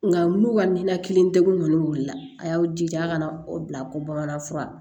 Nka n'u ka ninakili degun kɔni wulila a y'aw jija a kana o bila ko bamananfura